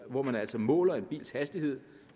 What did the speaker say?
hvor man altså måler en bils hastighed